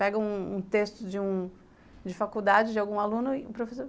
Pega um um texto de faculdade de algum aluno e o professor...